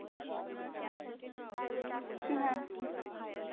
Private असेल तर मग जास्त राहील थोडं.